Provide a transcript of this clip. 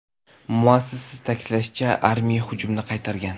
Muassasa ta’kidlashicha, armiya hujumni qaytargan.